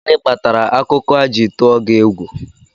Gịnị kpatara akụkọ a ji tụọ gị egwu?